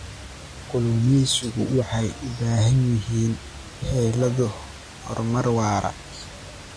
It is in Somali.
Kalluumaysigu waxay u baahan yihiin xeelado horumar waara.